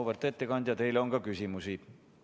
Auväärt ettekandja, teile on ka küsimusi.